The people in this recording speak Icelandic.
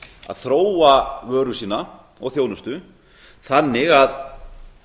að þróa vöru sína og þjónustu þannig að